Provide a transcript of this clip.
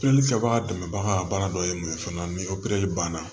Pelikɛbaga dɛmɛbaga dɔ ye mun ye fana ni opereli banna